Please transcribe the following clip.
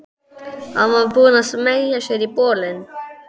Hún var búin að smeygja sér í bolinn.